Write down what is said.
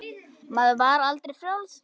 Maður var aldrei frjáls.